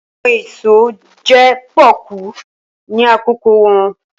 Awọn eso jẹ poku ni akoko wọn.